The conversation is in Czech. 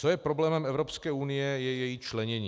Co je problémem Evropské unie, je její členění.